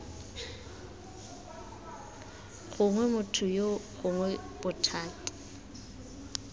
gongwe motho yoo gongwe bothati